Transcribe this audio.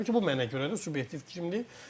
Təbii ki, bu mənə görədir, subyektiv fikrimdir.